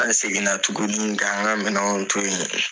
An seginna tuguni ka an ŋa minɛnw to yen.